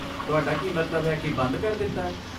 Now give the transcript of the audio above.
ਤੁਹਾਡਾ ਕੀ ਮਤਲਬ ਹੈ ਕਿ ਬੰਦ ਕਰ ਦਿੱਤਾ?